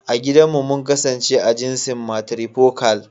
I gidan mu mun kasance a jinsin "Matrifocal ".